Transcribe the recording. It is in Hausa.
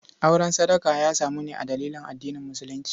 Auren sadaka ya samu ne a dalilin addinin musulunci.